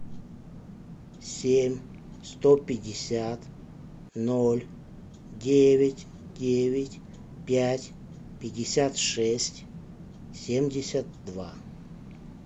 семь сто пятьдесят ноль девять девять пять пятьдесят шесть семьдесят два